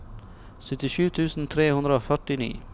syttisju tusen tre hundre og førtini